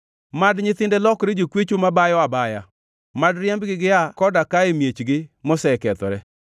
Mad nyithinde lokre jokwecho mabayo abaya; mad riembgi gia koda ka e miechgi mosekethore.